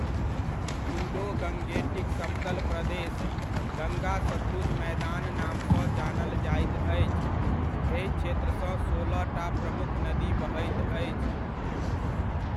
Indo Gangetic समतल प्रदेश गङ्गा सतलुज मैदान नामसँ जानल जाइत अछि, एहि क्षेत्रसँ सोलहटा प्रमुख नदी बहैत अछि।